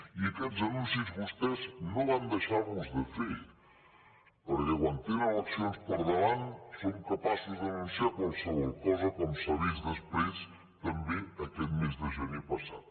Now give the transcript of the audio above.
i aquests anuncis vostès no van deixar los de fer perquè quan tenen eleccions al davant són capaços d’anunciar qualsevol cosa com s’ha vist després també aquest mes de gener passat